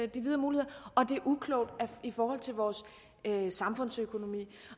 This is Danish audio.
de videre muligheder og det er uklogt i forhold til vores samfundsøkonomi